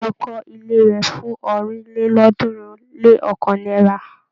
Báyọ̀ kọ́ ilé rẹ̀ fún ọ̀rìnlélọ́ọ̀ọ́dúnrún-lé-ọ̀kan náírà.